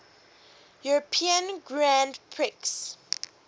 european grand prix